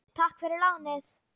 Takk fyrir lánið!